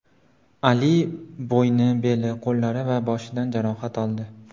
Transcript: Ali bo‘yni, beli, qo‘llari va boshidan jarohat oldi.